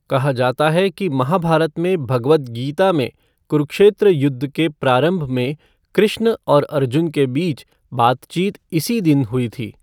कहा जाता है कि महाभारत में भगवद् गीता में कुरुक्षेत्र युद्ध के प्रारंभ में कृष्ण और अर्जुन के बीच बातचीत इसी दिन हुई थी।